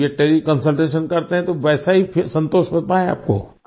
अब ये तेले कंसल्टेशन करते हैं तो वैसा ही संतोष होता है आपको